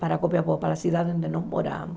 para Copiapó, para a cidade onde nós moramos.